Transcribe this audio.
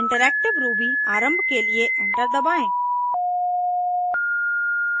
interactive ruby आरम्भ के लिए एंटर दबाएं